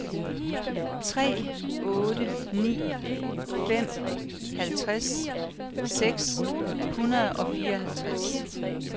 tre otte ni fem halvtreds seks hundrede og fireoghalvtreds